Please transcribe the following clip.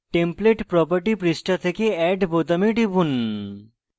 template property পৃষ্ঠা থেকে add বোতামে টিপুন